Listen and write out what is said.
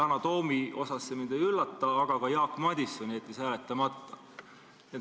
Yana Toomi puhul see mind ei üllata, aga ka Jaak Madison jättis hääletamata.